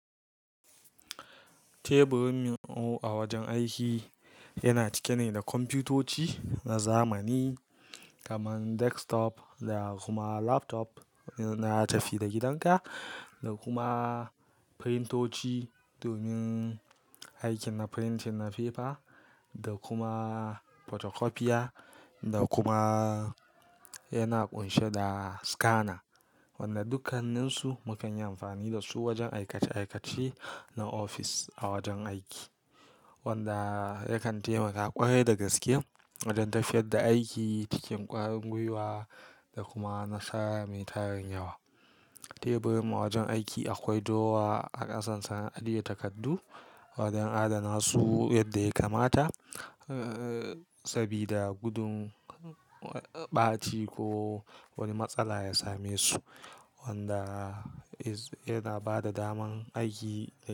Teburin mu a wajen aiki yana cike ne da kwamfutoci na zamani kamar desktop da kuma laptop na tafi-da-gidanka, da kuma printoci domin aikin printing na paper, da kuma photocopier, da kuma yana ƙunshe da scanner. Wanda dukkanninsu muke yin amfani da su wajen aikace-aikace na office a wajen aiki, wanda yakan taimaka ƙwarai da gaske wajen tafiyar da aiki cikin ƙwarin gwiwa da kuma nasara mai tarin yawa. Teburin mu a wajen aiki akwai drawer a ƙasansa na ajiye takardu wajen adana su yadda ya kamata, sabida gudun ɓaci ko wani matsala ya same su, wanda yana ba da daman aiki.